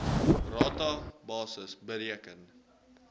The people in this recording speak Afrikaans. rata basis bereken